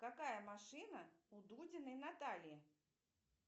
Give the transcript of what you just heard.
какая машина у дудиной натальи